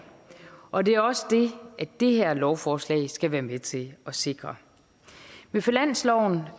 og det er også det det her lovforslag skal være med til at sikre i finansloven